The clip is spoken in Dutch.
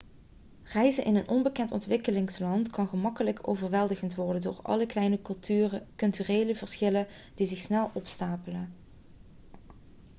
reizen in een onbekend ontwikkelingsland kan gemakkelijk overweldigend worden door alle kleine culturele verschillen die zich snel opstapelen